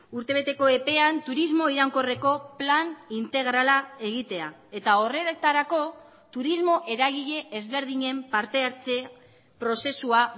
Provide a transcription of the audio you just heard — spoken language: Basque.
urtebeteko epean turismo iraunkorreko plan integrala egitea eta horretarako turismo eragile ezberdinen partehartze prozesua